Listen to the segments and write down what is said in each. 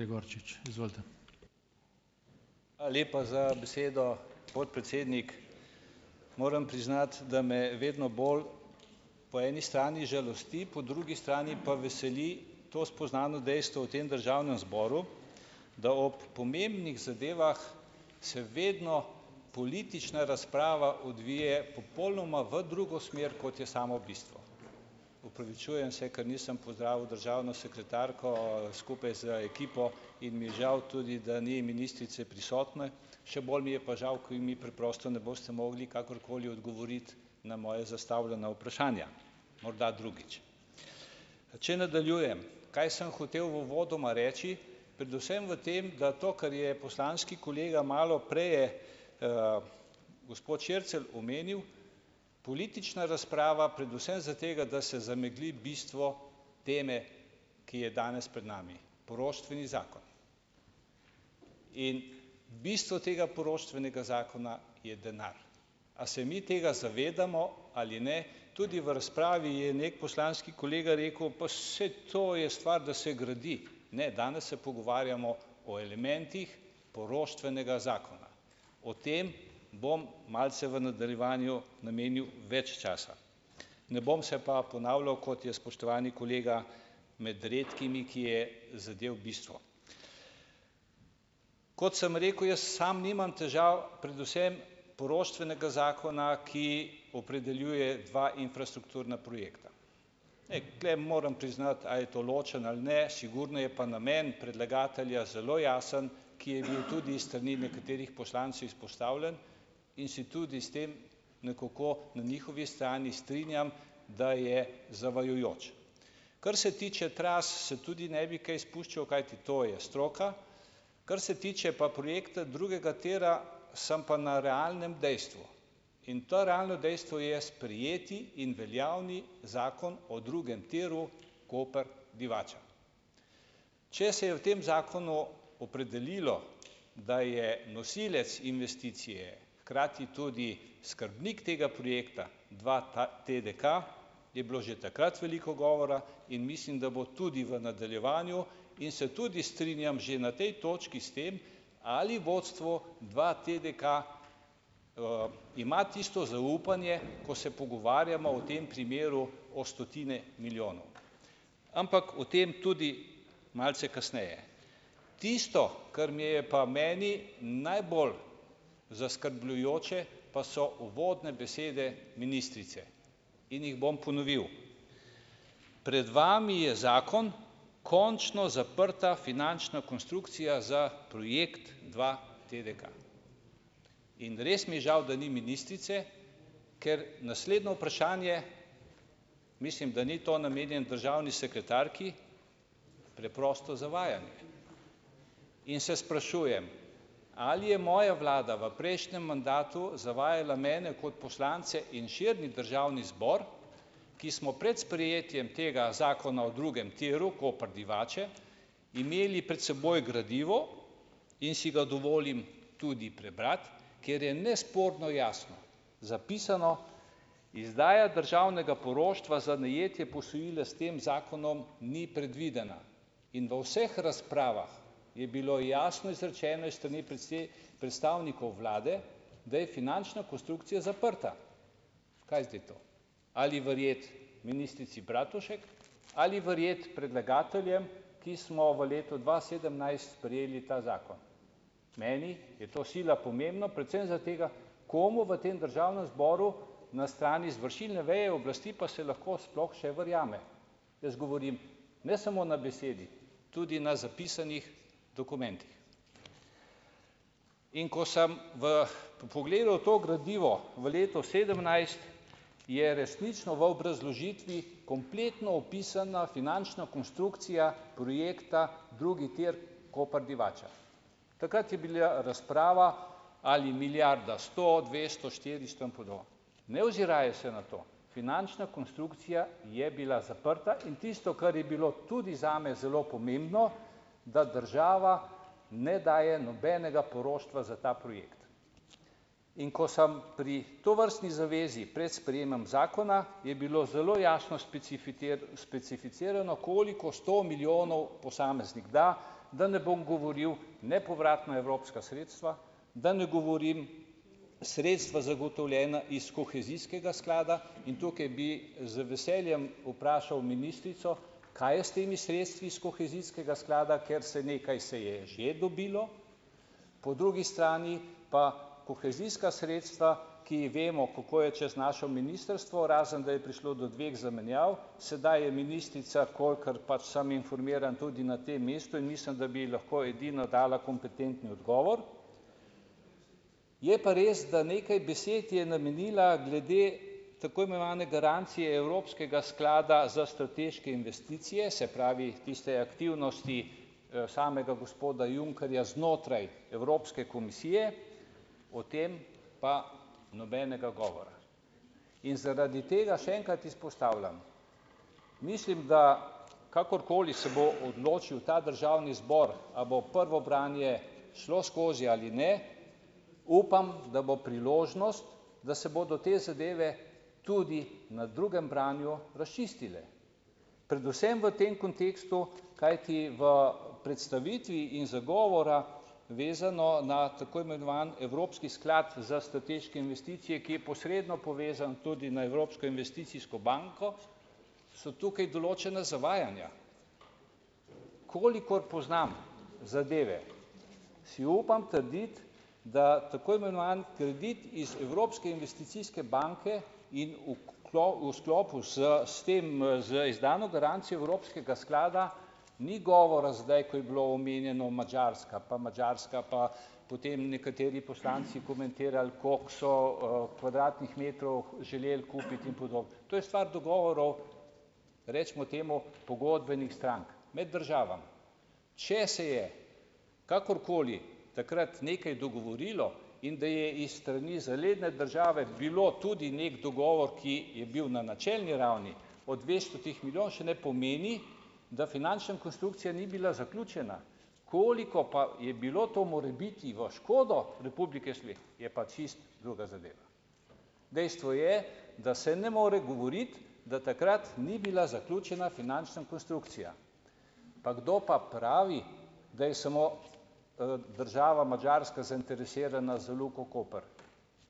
Hvala lepa za besedo, podpredsednik. Moram priznati, da me vedno bolj po eni strani žalosti, po drugi strani pa veseli to spoznano dejstvo v tem državnem zboru, da ob pomembnih zadevah se vedno politična razprava odvije popolnoma v drugo smer, kot je samo bistvo. Opravičujem se, ker nisem pozdravil državno sekretarko skupaj z ekipo, in mi je žal tudi, da ni ministrice prisotne. Še bolj mi je pa žal, ko je mi preprosto ne boste mogli kakorkoli odgovoriti na moja zastavljena vprašanja, morda drugič. Če nadaljujem, kaj sem hotel uvodoma reči. Predvsem v tem, da to, kar je poslanski kolega malo prej je, gospod Šircelj omenil, politična razprava, predvsem zaradi tega, da se zamegli bistvo teme, ki je danes pred nami - poroštveni zakon. In bistvo tega poroštvenega zakona je denar. A se mi tega zavedamo ali ne. Tudi v razpravi je neki poslanski kolega rekel: "Pa saj to je stvar, da se gradi." Ne, danes se pogovarjamo o elementih poroštvenega zakona. O tem bom malce v nadaljevanju namenil več časa. Ne bom se pa ponavljal, kot je spoštovani kolega med redkimi, ki je zadel bistvo. Kot sem rekel, jaz samo nimam težav, predvsem poroštvenega zakona, ki opredeljuje dva infrastrukturna projekta. Ej, tule moram priznati, a je to ločen ali ne, sigurno je pa namen predlagatelja zelo jasen, ki je bil tudi iz strani nekaterih poslancev izpostavljen, in si tudi s tem nekako na njihovi strani strinjam, da je zavajajoč. Kar se tiče tras, se tudi ne bi kaj spuščal, kajti to je stroka. Kar se tiče pa projekta drugega tira, sem pa na realnem dejstvu in to realno dejstvo je sprejeti in veljavni zakon o drugem tiru Koper-Divača. Če se je v tem zakonu opredelilo, da je nosilec investicije hkrati tudi skrbnik tega projekta TDK je bilo že takrat veliko govora in mislim, da bo tudi v nadaljevanju, in se tudi strinjam že na tej točki s tem ali vodstvo dvaTDK, ima tisto zaupanje, ko se pogovarjamo v tem primeru o stotine milijonov, ampak o tem tudi malce kasneje. Tisto, kar mi je meni najbolj zaskrbljujoče, pa so uvodne besede ministrice in jih bom ponovil. Pred vami je zakon, končno zaprta finančna konstrukcija za projekt dvaTDK. In res mi je žal, da ni ministrice, ker naslednje vprašanje mislim, da ni to namenjeno državni sekretarki, preprosto zavajanje. In Se sprašujem, ali je moja vlada v prejšnjem mandatu zavajala mene kot poslance in širni državni zbor, ki smo pred sprejetjem tega zakona o drugem tiru Koper-Divača imeli pred seboj gradivo, in si ga dovolim tudi prebrati kjer je nesporno jasno zapisano: "Izdaja državnega poroštva za najetje posojila s tem zakonom ni predvidena." In v vseh razpravah je bilo jasno izrečeno iz strani predstavnikov vlade, da je finančna konstrukcija zaprta. Kaj je zdaj to, ali verjeti ministrici Bratušek ali verjeti predlagateljem, ki smo v letu dva sedemnajst sprejeli ta zakon? Meni je to sila pomembno predvsem zaradi tega, komu v tem državnem zboru na strani izvršilne veje oblasti pa se lahko sploh še verjame. Jaz govorim ne samo na besedi, tudi na zapisanih dokumentih. In ko sem v pogledal to gradivo v letu sedemnajst, je resnično v obrazložitvi kompletno opisana finančna konstrukcija projekta drugi tir Koper-Divača. Takrat je bila razprava, ali milijarda sto, dvesto, štiristo in podobno. Ne oziraje se na to, finančna konstrukcija je bila zaprta. In tisto, kar je bilo tudi zame zelo pomembno, da država ne daje nobenega poroštva za ta projekt. In ko sem pri tovrstni zavezi pred sprejemom zakona, je bilo zelo jasno specificirano, koliko sto milijonov posameznik da, da ne bom govoril nepovratna evropska sredstva, da ne govorim sredstva zagotovljena iz kohezijskega sklada, in tukaj bi z veseljem vprašal ministrico, kaj je s temi sredstvi iz kohezijskega sklada, ker se nekaj se je že dobilo, po drugi strani pa kohezijska sredstva, ki vemo, kako je, čez naše ministrstvo, razen da je prišlo do dveh zamenjav, sedaj je ministrica, kolikor pač sem informiran, tudi na tem mestu in mislim, da bi lahko edino dala kompetentni odgovor. Je pa res, da nekaj besed je namenila glede tako imenovane garancije Evropskega sklada za strateške investicije, se pravi tiste aktivnosti. samega gospoda Junckerja znotraj Evropske komisije, o tem pa nobenega govora in zaradi tega še enkrat izpostavljam. Mislim, da kakorkoli se bo odločil ta državni zbor, a bo prvo branje šlo skozi ali ne upam, da bo priložnost, da se bodo te zadeve tudi na drugem branju razčistile predvsem v tem kontekstu. Kajti v predstavitvi in zagovora vezano na tako imenovan Evropski sklad za strateške investicije, ki je posredno povezan tudi na Evropsko investicijsko banko, so tukaj določena zavajanja. Kolikor poznam zadeve, si upam trditi, da tako imenovan kredit iz Evropske investicijske banke in v v sklopu s, s tem, z izdano garancijo evropskega sklada ni govora zdaj, ko je bila omenjena Madžarska, pa Madžarska pa potem nekateri poslanci komentirali, kako so, kvadratnih metrov želeli kupiti in podobno. To je stvar dogovorov, recimo temu, pogodbenih strank med državami. Če se je kakorkoli takrat nekaj dogovorilo, in da je iz strani zaledne države bil tudi neki dogovor, ki je bil na načelni ravni o dvestotih milijonih, še ne pomeni, da finančna konstrukcija ni bila zaključena. Koliko pa je bilo to morebiti v škodo republike spet, je pa čisto druga zadeva. Dejstvo je, da se ne more govoriti, da takrat ni bila zaključena finančna konstrukcija. Pa kdo pa pravi, da je samo, država Madžarska zainteresirana za Luko Koper.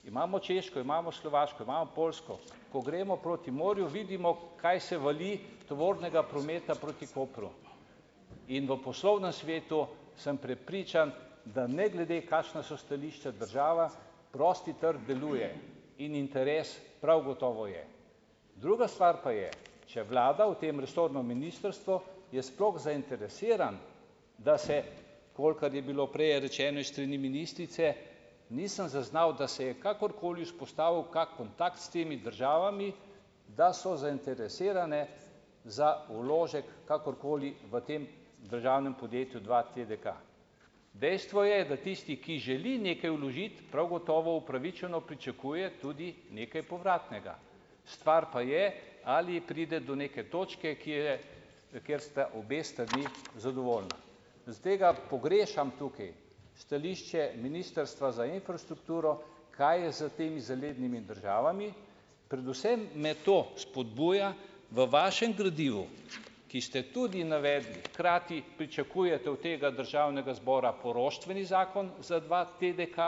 Imamo Češko, imamo Slovaško, imamo Poljsko. Ko gremo proti morju, vidimo, kaj se vali tovornega prometa proti Kopru. In v poslovnem svetu sem prepričan, da ne glede, kakšna so stališča, država, prosti trg deluje. In interes prav gotovo je. Druga stvar pa je, če vlada, v tem resorno ministrstvo je sploh zainteresirano, da se, kolikor je bilo prej rečeno, iz strani ministrice, nisem zaznal, da se je kakorkoli vzpostavil kak kontakt s temi državami, da so zainteresirane za vložek kakorkoli v tem državnem podjetju dvaTDK. Dejstvo je, da tisti, ki želi nekaj vložiti prav gotovo upravičeno pričakuje tudi nekaj povratnega. Stvar pa je, ali pride do neke točke, kjer je, kjer sta obe strani zadovoljni. Zaradi tega pogrešam tukaj stališče ministrstva za infrastrukturo, kaj je s temi zalednimi državami, predvsem me to spodbuja. V vašem gradivu, ki ste tudi navedli, hkrati pričakujete od tega državnega zbora poroštveni zakon za dvaTDK.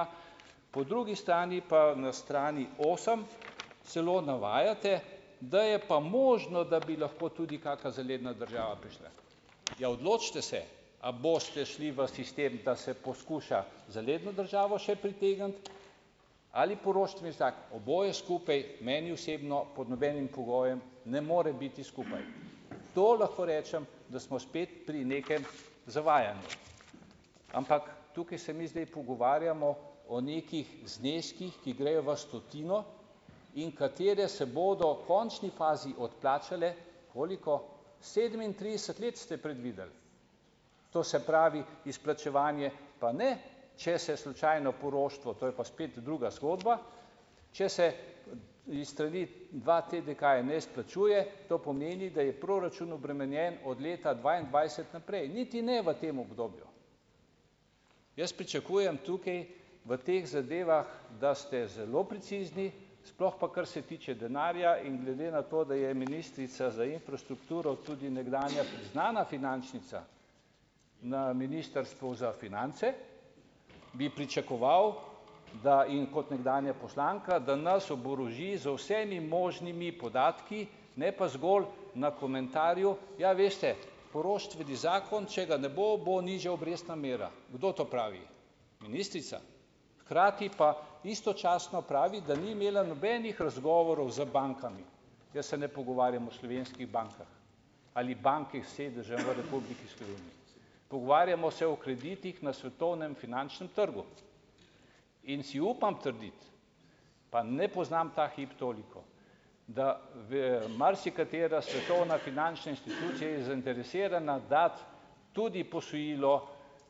Po drugi strani pa na strani osem celo navajate, da je pa možno, da bi lahko tudi kaka zaledna država prišla. Ja, odločite se, a boste šli v sistem, da se poskuša zaledno državo še pritegniti ali poroštveni zakon. Oboje skupaj meni osebno pod nobenim pogojem ne more biti skupaj. To lahko rečem, da smo spet pri nekem zavajanju. Ampak tukaj se mi zdaj pogovarjamo o nekih zneskih, ki grejo v stotino in kateri se bodo v končni fazi odplačali. Koliko? Sedemintrideset let ste predvideli. To se pravi, izplačevanje pa ne, če se slučajno poroštvo, to je pa spet druga zgodba, če se iz strani dvaTDK-ja ne izplačuje, to pomeni, da je proračun obremenjen od leta dvaindvajset naprej. Niti ne v tem obdobju. Jaz pričakujem tukaj v teh zadevah, da ste zelo precizni, sploh pa kar se tiče denarja, in glede na to, da je ministrica za infrastrukturo tudi nekdanja priznana finančnica na ministrstvu za finance, bi pričakoval, da in kot nekdanja poslanka, da nas oboroži z vsemi možnimi podatki, ne pa zgolj na komentarju: "Ja, veste poroštveni zakon, če ga ne bo, bo nižja obrestna mera." Kdo to pravi? Ministrica. Hkrati pa istočasno pravi, da ni imela nobenih razgovorov z bankami. Jaz se ne pogovarjam o slovenskih bankah ali bankih s sedežem v Republiki Sloveniji. Pogovarjamo se o kreditih na svetovnem finančnem trgu. In si upam trditi, pa ne poznam ta hip toliko, da v marsikatera svetovna finančna institucija je zainteresirana dati tudi posojilo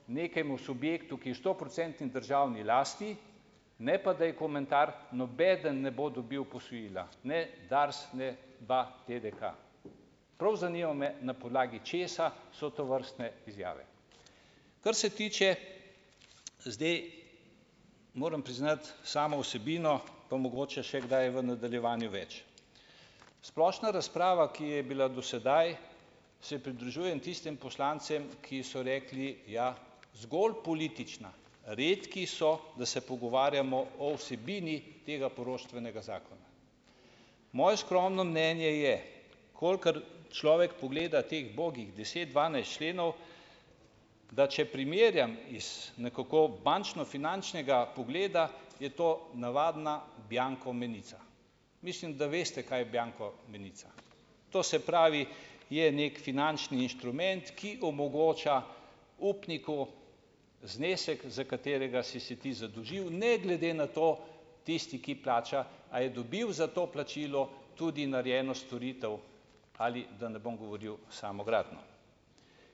nekemu subjektu, ki je stoprocentni državni lasti, ne pa da je komentar, nobeden ne bo dobil posojila, ne Dars, ne dvaTDK. Prav zanima me, na podlagi česa so tovrstne izjave. Kar se tiče, zdaj moram priznati, samo vsebino, pa mogoče še kdaj v nadaljevanju več. Splošna razprava, ki je bila do sedaj, se pridružujem tistim poslancem, ki so rekli, ja, zgolj politična. Redki so, da se pogovarjamo o vsebini tega poroštvenega zakona. Moje skromno mnenje je, kolikor človek pogleda teh bogih deset, dvanajst členov, da če primerjam iz nekako bančno-finančnega pogleda, je to navadna bianko menica. Mislim, da veste, kaj je bianko menica. To se pravi, je neki finančni inštrument, ki omogoča upniku znesek, za katerega si se ti zadolžil, ne glede na to, tisti, ki plača, a je dobil za to plačilo tudi narejeno storitev ali, da ne bom govoril, samo gradnjo.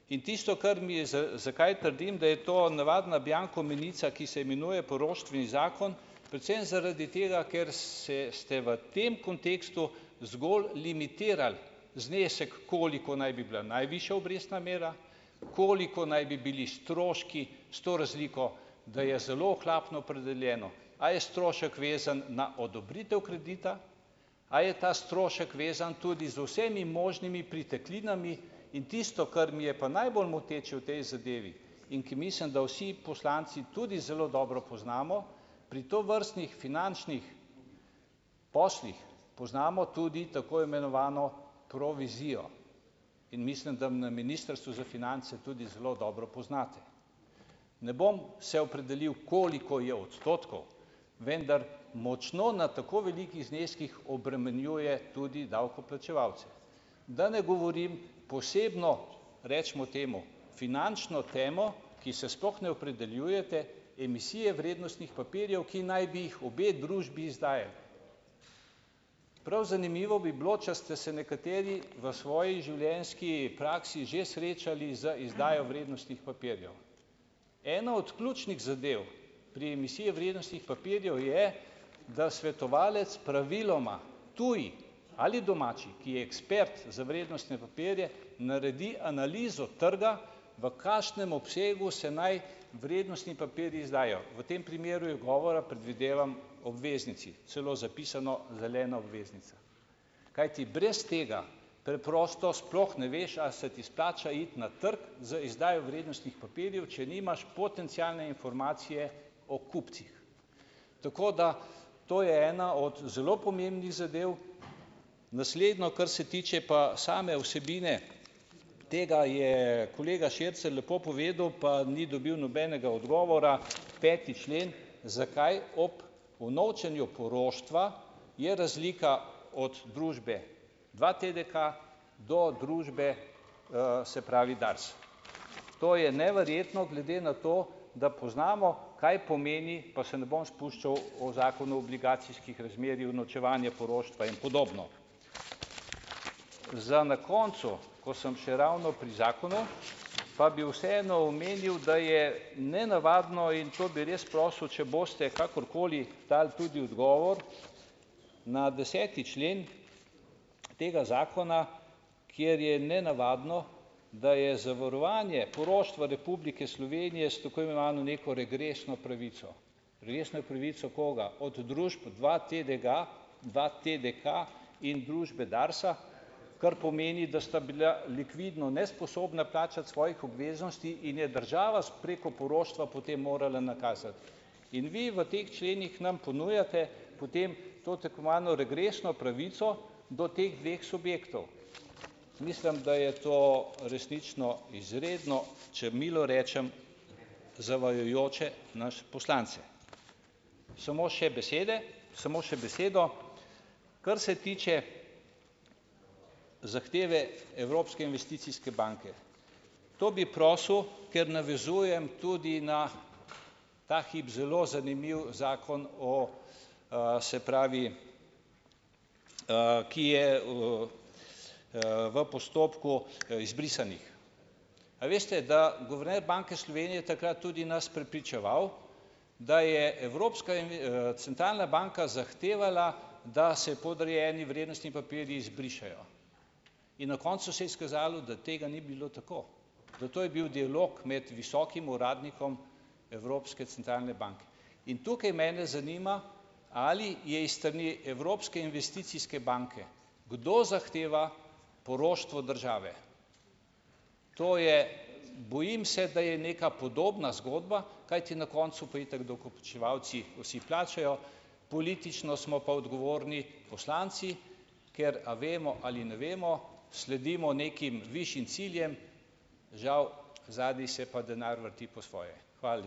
In tisto, kar mi je, zakaj trdim, da je to navadna "bianko menica", ki se imenuje poroštveni zakon? Predvsem zaradi tega, ker se ste v tem kontekstu zgolj limitirali znesek, koliko naj bi bila najvišja obrestna mera, koliko naj bi bili stroški, s to razliko, da je zelo ohlapno opredeljeno, a je strošek vezan na odobritev kredita, a je ta strošek vezan tudi z vsemi možnimi pritiklinami, in tisto, kar mi je pa najbolj moteče v tej zadevi in ki mislim, da vsi poslanci tudi zelo dobro poznamo, pri tovrstnih finančnih poslih poznamo tudi tako imenovano provizijo in mislim, da na ministrstvu za finance tudi zelo dobro poznate. Ne bom se opredelil, koliko je odstotkov, vendar močno na tako velikih zneskih obremenjuje tudi davkoplačevalce. Da ne govorim, posebno, recimo temu finančno temo, ki se sploh ne opredeljujete, emisije vrednostnih papirjev, ki naj bi jih obe družbi izdajali. Prav zanimivo bi bilo, če ste se nekateri v svoji življenjski praksi že srečali z izdajo vrednostnih papirjev. Ena od ključnih zadev pri emisiji vrednostnih papirjev je, da svetovalec praviloma, tuj ali domači, ki je ekspert za vrednostne papirje, naredi analizo trga, v kakšen obsegu se naj vrednostni papirji izdajajo. V tem primeru je govora, predvidevam, o obveznici. Celo zapisano zelena, obveznica. Kajti, brez tega preprosto sploh ne veš, a se ti splača iti na trg z izdajo vrednostnih papirjev, če nimaš potencialne informacije o kupcih. Tako da, to je ena od zelo pomembnih zadev. Naslednje, kar se tiče pa same vsebine tega, je kolega Šircelj lepo povedal, pa ni dobil nobenega odgovora - peti člen, zakaj ob unovčenju poroštva, je razlika od družbe dvaTDK do družbe, se pravi, Dars? To je neverjetno, glede na to, da poznamo, kaj pomeni, pa se ne bom spuščal, o zakonu o obligacijskih razmerjih, unovčevanje poroštva in podobno. Za na koncu, ko sem še ravno pri zakonu, pa bi vseeno omenil, da je nenavadno in to bi res prosil, če boste kakorkoli dali tudi odgovor, na deseti člen, tega zakona, kjer je nenavadno, da je zavarovanje poroštva Republike Slovenije s tako imenovano neko regresno pravico. Regresno pravico koga? Od družb dvaTDG, dvaTDK in družbe Darsa? Kar pomeni, da sta bila likvidno nesposobna plačati svojih obveznosti in je država s preko poroštva potem morala nakazati in vi, v teh členih, nam ponujate, potem, to tako imenovano regresno pravico do teh dveh subjektov. Mislim, da je to resnično, izredno, če milo rečem, zavajajoče nas, poslance. Samo še besede, Samo še besedo, kar se tiče zahteve Evropske investicijske banke - to bi prosil, ker navezujem tudi na, ta hip, zelo zanimiv zakon o, se pravi, ki je, v postopku, izbrisanih. A veste, da guverner Banke Slovenije je takrat tudi nas prepričeval, da je Evropska centralna banka zahtevala, da se podrejeni vrednostni papirji izbrišejo in na koncu se je izkazalo, da tega ni bilo tako. Zato je bil dialog med visokim uradnikom Evropske centralne banke. In tukaj mene zanima, ali je iz strani Evropske investicijske banke kdo zahteva poroštvo države? To je, bojim se, da je neka podobna zgodba, kajti na koncu pa itak davkoplačevalci vsi plačajo, politično smo pa odgovorni poslanci, ker, a vemo ali ne vemo, sledimo nekim višjim ciljem, žal, zadaj se pa denar vrti po svoje. Hvala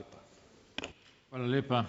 lepa.